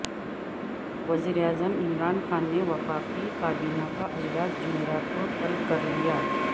وزیر اعظم عمران خان نے وفاقی کابینہ کا اجلاس جمعرات کو طلب کرلیا